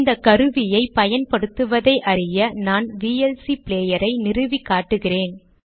இந்த கருவியை பயன்படுத்துவதை அறிய நான் விஎல்சி ப்ளேயரை நிறுவி காட்டுகிறேன்